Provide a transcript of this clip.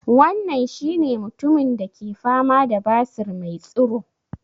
Wannan shi ne mutumin da ke fama da basir me tsuro?